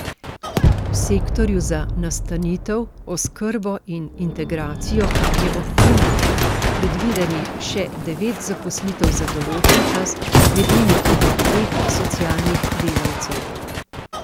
V sektorju za nastanitev, oskrbo in integracijo je ob tem predvidenih še devet zaposlitev za določen čas, med njimi tudi treh socialnih delavcev.